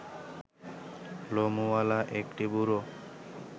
লোমওয়ালা একটি বুড়ো